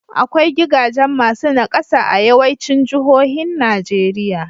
Akwai gigajen masu naƙasa a yawaicin jihohin Najeriya.